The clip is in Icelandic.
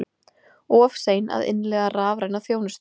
Of sein að innleiða rafræna þjónustu